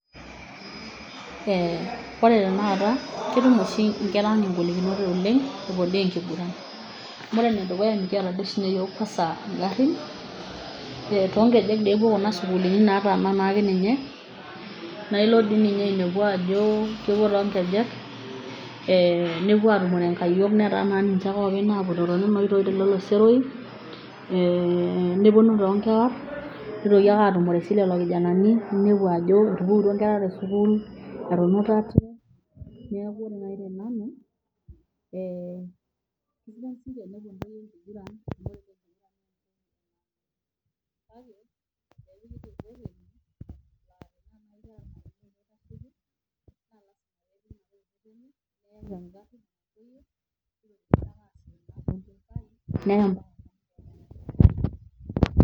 eeh oore tanakata ketum ooshi inkera ang' igolikinot oleng', epuo imbaa enkiguran. Amuu oore enedukuya mekiata duo oshi ninye iyiok kwanza igarin, toonkejek epuo kuna sukuulini nataana naake ninye, naa iilo toi ninye ainepu aajo kepuo toonkejeknepuo ainepu inkayiok netaa naa ninche aake openy napoito tosero, eeh neponu toonkewar neitoki aake atumore sii lelo kijanani, ninepu aajo etupukutuo inkera te sukuul, etunutate, niaku oore naaji te nanu, kesidai sinche enepuo intoyie enkiguran??]].